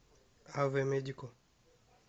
аве медико